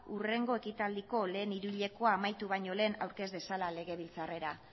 hurrengo ekitaldiko lehen hiruhilekoa amaitu baino lehen aurkez dezala legebiltzarrera